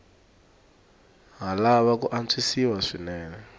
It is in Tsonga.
ha lava ku antswisiwa swinene